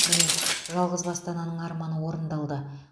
міне жалғызбасты ананың арманы орындалды